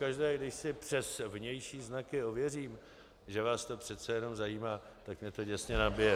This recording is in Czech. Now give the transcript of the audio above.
Pokaždé, když si přes vnější znaky ověřím, že vás to přece jenom zajímá, tak mě to děsně nabije.